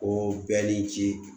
O bɛɛ ni ji